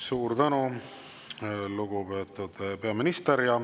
Suur tänu, lugupeetud peaminister!